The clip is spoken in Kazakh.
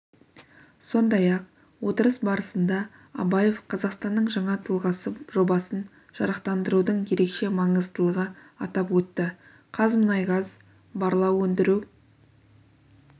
сондай-ақ отырыс барысында абаев қазақстанның жаңа тұлғасы жобасын жарықтандырудың ерекше маңыздылығы атап өтті қазмұнайгаз барлау өндіру